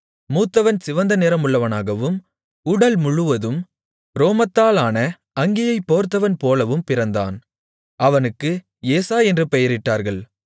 மூத்தவன் சிவந்த நிறமுள்ளவனாகவும் உடல்முழுவதும் ரோமத்தாலான அங்கியைப் போர்த்தவன் போலவும் பிறந்தான் அவனுக்கு ஏசா என்று பெயரிட்டார்கள்